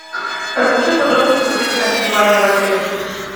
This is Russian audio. расскажи подробности про длительное пребывание в отеле